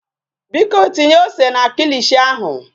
Biko tinye ose na kilishi ahụ.